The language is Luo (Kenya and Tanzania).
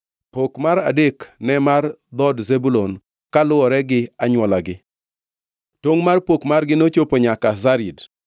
Pok mar adek ne mar dhood Zebulun kaluwore anywolagi. Tongʼ mar pok margi nochopo nyaka Sarid.